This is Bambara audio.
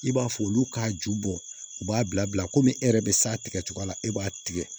I b'a fɔ olu k'a ju bɔ u b'a bila komi e yɛrɛ be s'a tigɛ cogo la e b'a tigɛ